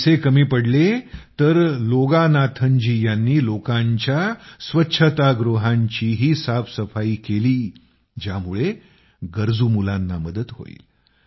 पैसे कमी पडले तर लोगानाथनजी यांनी लोकांचे स्वच्छतागृहांचीही साफसफाई केली ज्यामुळे गरजू मुलांना मदत होईल